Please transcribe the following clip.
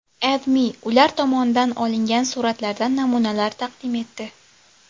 AdMe ular tomonidan olingan suratlardan namunalar taqdim etdi .